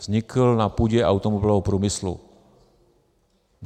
Vznikl na půdě automobilového průmyslu.